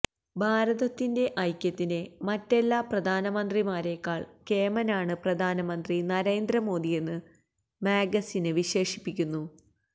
ഭാരതത്തിന്റെ ഐക്യത്തിന് മറ്റെല്ലാ പ്രധാനമന്ത്രിമാരെക്കാള് കേമനാണ് പ്രധാനമന്ത്രി നരേന്ദ്രമോദിയെന്ന് മാഗസിന് വിശേഷിപ്പിക്കുന്നു